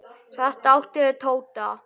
Þetta átti við Tóta.